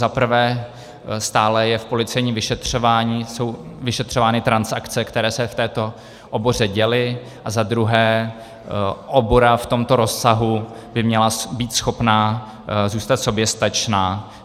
Za prvé, stále je v policejním vyšetřování, jsou vyšetřovány transakce, které se v této oboře děly, a za druhé, obora v tomto rozsahu by měla být schopná zůstat soběstačná.